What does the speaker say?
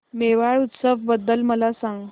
मेवाड उत्सव बद्दल मला सांग